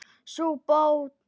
Sú bók var